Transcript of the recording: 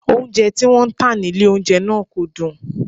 Oúnjẹ tí wọ́n ń tà nílé oúnjẹ náà kò dùn